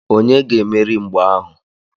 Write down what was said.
Onye ga-emeri mgba ahu?